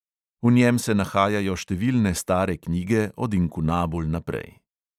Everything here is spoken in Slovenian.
V njem se nahajajo številne stare knjige od inkunabul naprej.